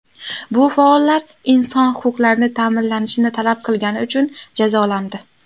Bu faollar inson huquqlari ta’minlanishini talab qilgani uchun jazolandi.